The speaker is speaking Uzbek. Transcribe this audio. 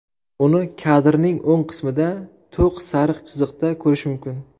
Uni kadrning o‘ng qismida, to‘q sariq chiziqda ko‘rish mumkin.